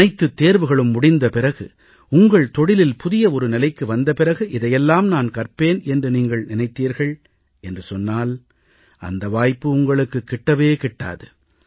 அனைத்துத் தேர்வுகளும் முடிந்த பிறகு உங்கள் தொழிலில் புதிய ஒரு நிலைக்கு வந்த பிறகு இதை எல்லாம் நான் கற்பேன் என்று நீங்கள் நினைத்தீர்கள் என்று சொன்னால் அந்த வாய்ப்பு உங்களுக்கு கிட்டவே கிட்டாது